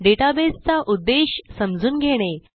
database चा उद्देश समजून घेणे